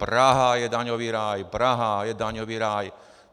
Praha je daňový rád, Praha je daňový ráj.